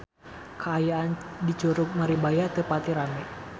Kaayaan di Curug Maribaya teu pati rame